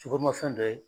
Sukoromafɛn dɔ ye